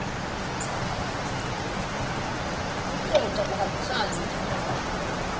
nekucoca kuhambisane netinhloso